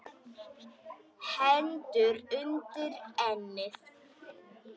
Hendur undir ennið.